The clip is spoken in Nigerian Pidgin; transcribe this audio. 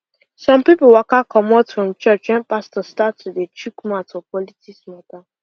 some people waka comot from church when pastor start to dey chuk mouth for politics matter